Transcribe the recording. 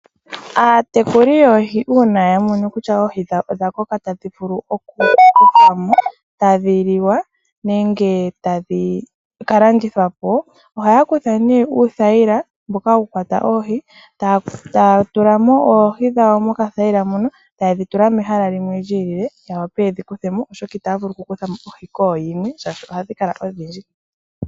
Aatekuli yoohi uuna ya mono kutya oohi dhawo odha koka tadhi vulu oku kuthwamo tadhi liwa nenge tadhi kalandithwapo ohaya kutha uuthayila mboka hawu kwata oohi taya tulamo oohi dhawo moka thayila mono tayedhi tula mehala limwe lyi ilile ya wape yedhi kuthe mo oshoka itaya vulu oku kuthamo oohi kooyimwe shashi ohadhi kala odhindji.